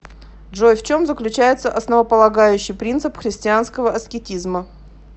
джой в чем заключается основополагающий принцип христианского аскетизма